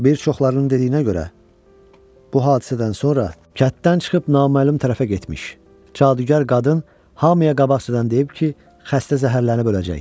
Bir çoxlarının dediyinə görə, bu hadisədən sonra kənddən çıxıb naməlum tərəfə getmiş, cadugar qadın hamıya qabaqcadan deyib ki, xəstə zəhərlənib öləcək.